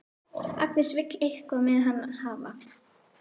Agnes vill eitthvað með hann hafa.